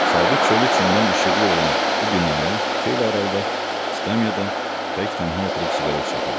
Sabit çölü içindən işıqlı olan bu binaya xeyli aralıda skamyada tək-tənha oturub siqaret çəkirdi.